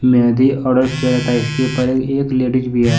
Mehndi order किया था इसके ऊपर एक लेडिस भी है।